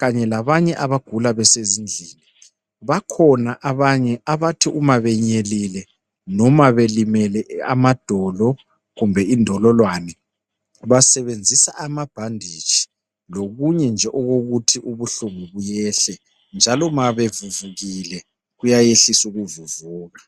kanye labanye abagula besendlini. Bakhona abanye abathi uma benyelile noma belimele amadolo kumbe indololwane basebenzisa amabhanditshi lokunje nje okokuthi ubuhlungu buyehle njalo ma bevuvukile kuyayehlisa ukuvuvuka.